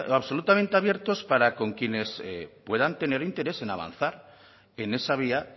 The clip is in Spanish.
absolutamente abiertos para con quienes puedan tener interés en avanzar en esa vía